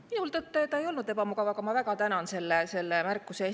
Minul tõtt-öelda ei olnud ebamugav, aga ma väga tänan selle märkuse eest.